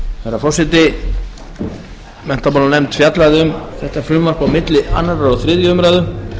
herra forseti menntamálanefnd fjallaði um þetta frumvarp á milli annars og þriðju umræðu